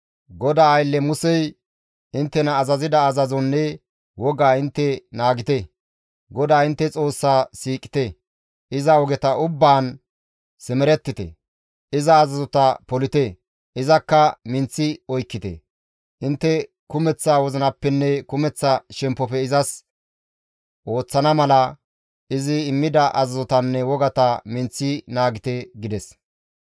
GODAA aylle Musey inttena azazida azazozanne wogaa intte naagite. GODAA intte Xoossa siiqite; iza ogeta ubbaan simerettite; iza azazota polite; izakka minththi oykkite; intte kumeththa wozinappenne kumeththa shemppofe izas ooththana mala izi immida azazotanne wogata minththi naagite» gides.